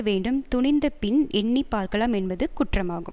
வேண்டும் துணிந்த பின் எண்ணி பார்க்கலாம் என்பது குற்றமாகும்